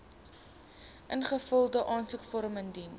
ingevulde aansoekvorm indien